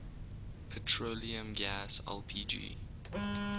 petroleum gas lpg